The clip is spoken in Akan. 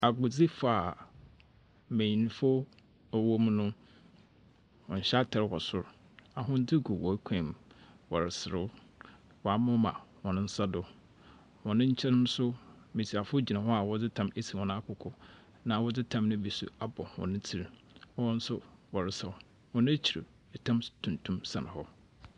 Agordzifo a mmanyinfo a wɔwom no wɔnhyɛ atar wɔ sor. Ahwendze gu wɔn kɔnmu, wɔreserew. Wamoma wɔn nsa do. Hɔn nkyen no so mmesiafo gyina hɔ a wɔdze tam esi wɔn akoko, na wɔdze tam no bi abɔ wɔn tsir, ɛwɔn nso wɔresaw. Wɔn ekyir no ɛtam tuntum sɛn hɔ.